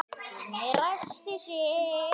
Gunni ræskti sig.